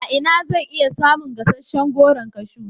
A ina zan iya samun gasasshen Goron kashu?